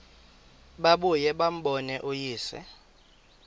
babuye bambone uyise